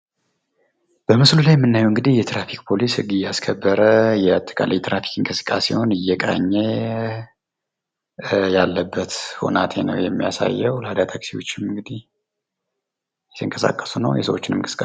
በምስሉ ላይ ያለዉ እንግዲህ የትራፊክ ፖሊስ ህግ እያስከበረ የአጠቃላይ የትራፊክ እንቅስቃሴዉን የሚቆጣጠርበት ሁናቴ ነዉ የሚታየዉ።